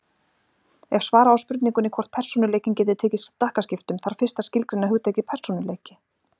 Ef svara á spurningunni hvort persónuleikinn geti tekið stakkaskiptum þarf fyrst að skilgreina hugtakið persónuleiki.